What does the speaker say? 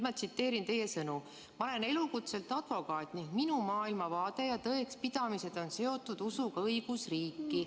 Ma tsiteerin teie sõnu: "Ma olen elukutselt advokaat ning minu maailmavaade ja tõekspidamised on seotud usuga õigusriiki.